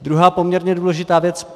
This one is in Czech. Druhá poměrně důležitá věc.